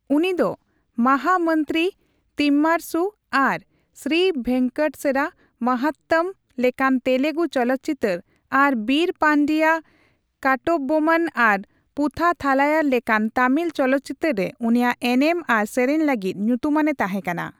ᱩᱱᱤᱫᱚ ᱢᱟᱦᱟ ᱢᱚᱱᱛᱨᱤ ᱛᱤᱢᱢᱟᱨᱚᱥᱩ ᱟᱨ ᱥᱨᱤ ᱵᱷᱮᱝᱠᱴᱮᱥᱚᱨᱟ ᱢᱟᱦᱟᱛᱛᱚᱢ ᱞᱮᱠᱟᱱ ᱛᱮᱞᱮᱜᱩ ᱪᱚᱞᱚᱛᱪᱤᱛᱟᱹᱨ ᱟᱨ ᱵᱤᱨ ᱯᱟᱱᱰᱤᱭᱟ ᱠᱟᱴᱴᱟᱵᱳᱢᱢᱚᱱ ᱟᱨ ᱯᱩᱵᱷᱟ ᱛᱷᱟᱞᱟᱭᱟᱨ ᱞᱮᱠᱟᱱ ᱛᱟᱹᱢᱤᱞ ᱪᱚᱞᱚᱛᱪᱤᱛᱟᱹᱨ ᱨᱮ ᱩᱱᱤᱭᱟᱜ ᱮᱱᱮᱢ ᱟᱨ ᱥᱮᱨᱮᱧ ᱞᱟᱹᱜᱤᱫ ᱧᱩᱛᱩᱢᱟᱱᱮ ᱛᱟᱦᱮᱸᱠᱟᱱᱟ ᱾